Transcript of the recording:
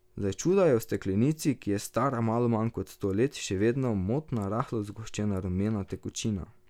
Za čuda je v steklenici, ki je stara malo manj kot sto let, še vedno motna rahlo zgoščena rumena tekočina.